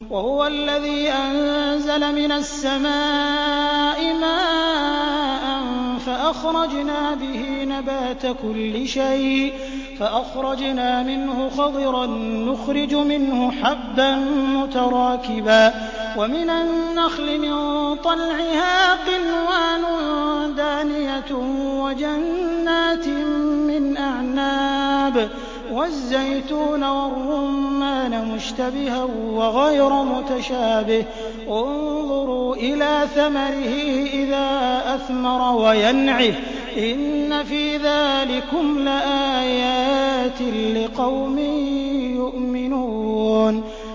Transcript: وَهُوَ الَّذِي أَنزَلَ مِنَ السَّمَاءِ مَاءً فَأَخْرَجْنَا بِهِ نَبَاتَ كُلِّ شَيْءٍ فَأَخْرَجْنَا مِنْهُ خَضِرًا نُّخْرِجُ مِنْهُ حَبًّا مُّتَرَاكِبًا وَمِنَ النَّخْلِ مِن طَلْعِهَا قِنْوَانٌ دَانِيَةٌ وَجَنَّاتٍ مِّنْ أَعْنَابٍ وَالزَّيْتُونَ وَالرُّمَّانَ مُشْتَبِهًا وَغَيْرَ مُتَشَابِهٍ ۗ انظُرُوا إِلَىٰ ثَمَرِهِ إِذَا أَثْمَرَ وَيَنْعِهِ ۚ إِنَّ فِي ذَٰلِكُمْ لَآيَاتٍ لِّقَوْمٍ يُؤْمِنُونَ